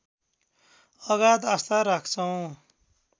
अगाध आस्था राख्छौँ